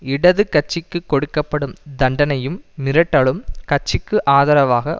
இடது கட்சிக்கு கொடுக்க படும் தண்டனையும் மிரட்டலும் கட்சிக்கு ஆதரவாக